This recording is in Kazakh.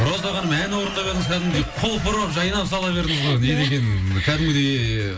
роза ханым ән орындап едіңіз кәдімгідей құлпырып жайнап сала бердіңіз ғой не деген кәдімгідей